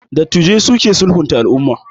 Dattijai su ke sulhunta al'umma